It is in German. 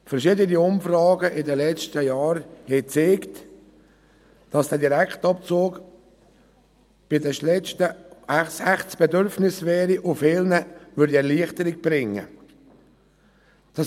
Verschiedene Umfragen in den letzten Jahren haben gezeigt, dass der Direktabzug ein echtes Bedürfnis wäre und vielen Erleichterung bringen würde.